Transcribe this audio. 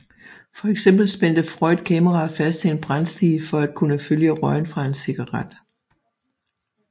For eksempel spændte Freund kameraet fast til en brandstige for at kunne følge røgen fra en cigaret